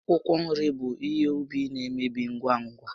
Akwụkwọ nri bụ ihe úbì na-emebi ngwa ngwa